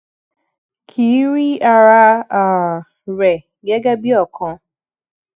ki i rí ara um rẹ gege bi okan